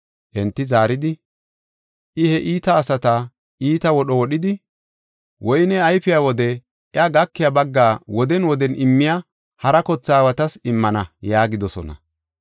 Enti zaaridi, “I he iita asata iita wodho wodhidi, woyney ayfiya wode iya gakiya baggaa woden woden immiya hara kothe aawatas immana” yaagidosona.